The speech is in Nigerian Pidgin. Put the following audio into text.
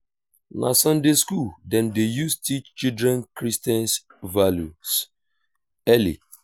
na sunday school dem dey use teach children christian values early.